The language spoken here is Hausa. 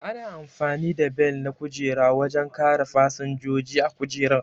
Ana amfani da Bel na kujera wajen kare fasinjoji a kujera